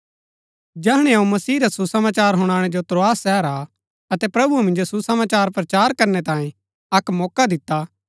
जैहणै अऊँ मसीह रा सुसमाचार हुनाणै जो त्रोआस शहर आ अतै प्रभुऐ मिन्जो सुसमाचार प्रचार करनै तांये अक्क मौका दिता